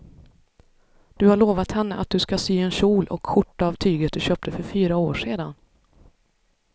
Du har lovat henne att du ska sy en kjol och skjorta av tyget du köpte för fyra år sedan.